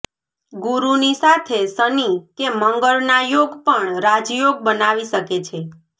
ગુરૂની સાથે શનિ કે મંગળના યોગ પણ રાજયોગ બનાવી શકે છે